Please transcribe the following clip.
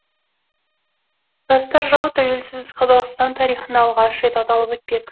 жастар жылы тәуелсіз қазақстан тарихында алғаш рет аталып өтпек